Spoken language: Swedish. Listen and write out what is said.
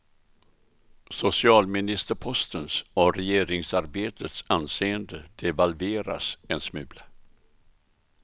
Socialministerpostens och regeringsarbetets anseende devalveras en smula.